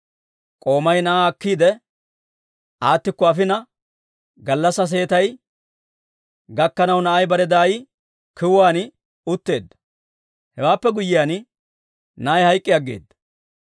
K'oomay na'aa akkiide, aattikko afina gallassaa seetay gakkanaw na'ay bare daay kiwuwaan utteedda; hewaappe guyyiyaan, na'ay hayk'k'i aggeedda.